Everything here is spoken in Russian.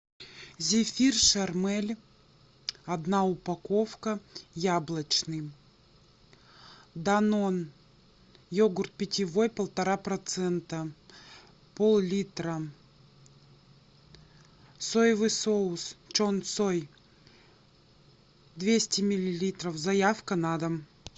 зефир шармель одна упаковка яблочный данон йогурт питьевой полтора процента поллитра соевый соус чон сой двести миллилитров заявка на дом